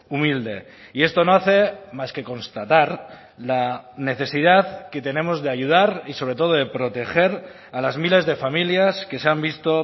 humilde y esto no hace más que constatar la necesidad que tenemos de ayudar y sobre todo de proteger a las miles de familias que se han visto